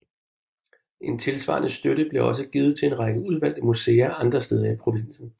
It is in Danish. En tilsvarende støtte blev også givet til en række udvalgte museer andre steder i provinsen